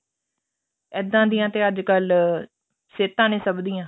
ਇੱਦਾਂ ਦੀਆਂ ਤੇ ਅੱਜਕਲ ਸਿਹਤਾਂ ਨੇ ਸਭ ਦੀਆਂ